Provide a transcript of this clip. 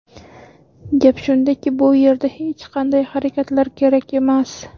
Gap shundaki, bu yerda hech qanday harakatlar kerak emas.